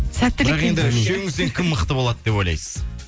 сәттілік бірақ енді үшеуіңізден кім мықты болады деп ойлайсыз